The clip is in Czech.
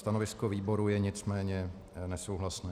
Stanovisko výboru je nicméně nesouhlasné.